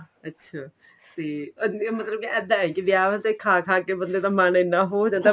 ਅੱਛਾ ਤੇ ਮਤਲਬ ਕੇ ਇੱਦਾਂ ਏ ਵਿਆਵਾਂ ਤੇ ਖਾ ਖਾ ਕੇ ਬੰਦੇ ਦਾ ਮੰਨ ਐਨਾ ਹੋ ਜਾਂਦਾ